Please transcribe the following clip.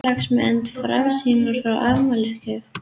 Félagsmenn Framsýnar fá afmælisgjöf